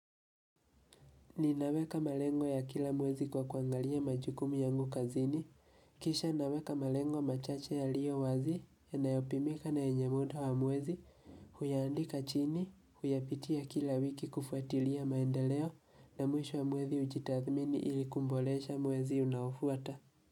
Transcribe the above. Ninaweka malengo ya kila mwezi kwa kuangalia majukumu yangu kazini, kisha naweka malengo machache ya liyo wazi ya nayo pimika na yenye mutu hamwezi, huyaandika chini, huyapitia kila wiki kufuatilia maendeleo na mwisho wa mwezi ujitathmini ili kumboleesha mwezi unaofuata.